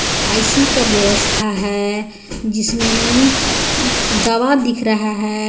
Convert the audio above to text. ICU का व्यवस्था है जिसमें दवा दिख रहा है.